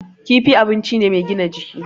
Kifi abun ci ne mai gina jiki.